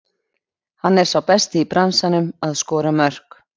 Hann er sá besti í bransanum að skora mörk.